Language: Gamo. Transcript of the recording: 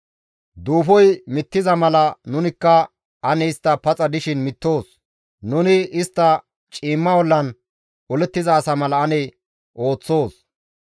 Duufoy mittiza mala nunikka ane istta paxa dishin mittoos; nuni istta ciimma ollan olettiza asa mala ane ooththoos.